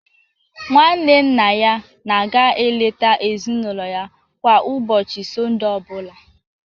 Nwanne nna ya na-aga eleta ezinụlọ ya kwa ụbọchị Sọnde ọ bụla.